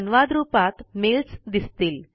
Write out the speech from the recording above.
संवाद रुपात मेल्स दिसतील